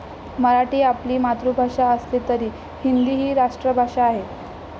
मराठी आपली मातृभाषा असली तरी हिंदी ही राष्ट्रभाषा आहे.